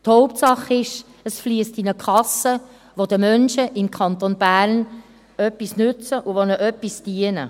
Die Hauptsache ist, es fliesst in eine Kasse, die den Menschen im Kanton Bern nützt und ihnen dient.